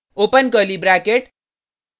open curly bracket